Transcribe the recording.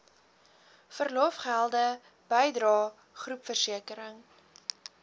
verlofgelde bydrae groepversekering